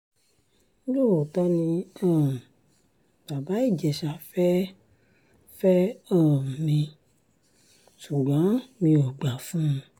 lóòótọ́ ni um bàbá ìjèṣà fẹ́ẹ́ fẹ́ um mi ṣùgbọ́n mi ò gbà fún un